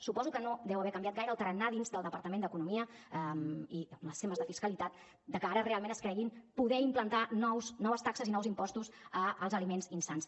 suposo que no deu haver canviat gaire el tarannà dins del departament d’economia amb els temes de fiscalitat de cara a que ara es creguin poder implantar noves taxes i nous impostos als aliments insans